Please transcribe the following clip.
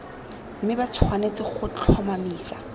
mme ba tshwanetse go tlhomamisa